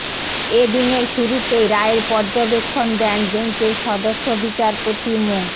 এ দিনের শুরুতেই রায়ের পর্যবেক্ষণ দেন বেঞ্চের সদস্য বিচারপতি মো